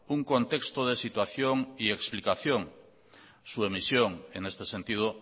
un contexto de situación y explicación su emisión en este sentido